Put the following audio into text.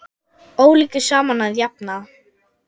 Ólíku saman að jafna.